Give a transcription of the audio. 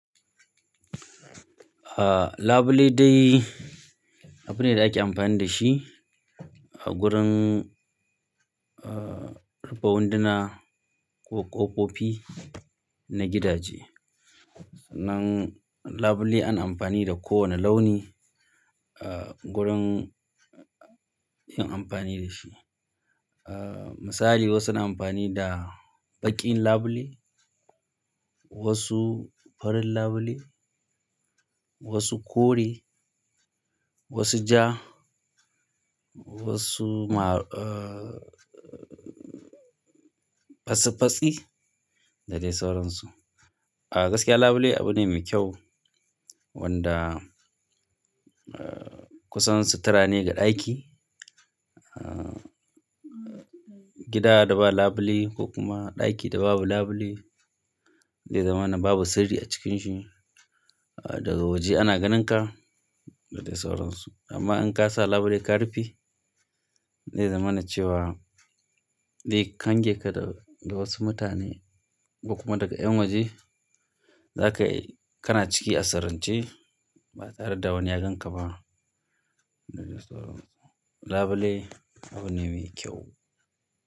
Ah, labule dai abu ne da ake amfani da shi a gurin, ah, rufe wunduna ko ƙofofi na gidaje. Sannan labule ana amfani kowane launi ah gurin yin amfani da shi ah, misali wasu na amfani da baƙin labule, wasu farin labule, wasu kore, wasu ja, wasu ma, ah, fatsi fatsi da dai sauransu. A gaskiya labule abu ne mai kyau wanda, ah, kusan sutura ne ga ɗaki. Ah gidabda ba labule ko kuma ɗaki da babu labule zai zamana babu sirri a cikin shi daga waje ana ganinka da dai sauransu. Amma in ka sa labule ka rufe, zai zamana cewa dai kan kange ka da wasu mutane ko kuma daga ƴan waje. Zakai kana ciki a sirrance ba tareda wani ya ganka ba, labule abu ne mai kyau.